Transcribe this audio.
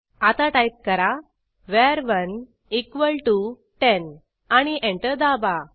आता टाईप करा वर1 इक्वॉल टीओ 10 आणि एंटर दाबा